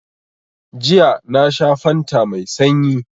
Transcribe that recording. Jiya na sha fanta mai sanyi